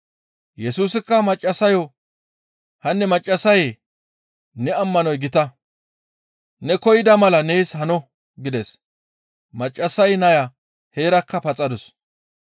Yesusikka maccassayo, «Hanne maccassayee, ne ammanoy gita! Ne koyida mala nees hano» gides. Maccassay naya heerakka paxadus.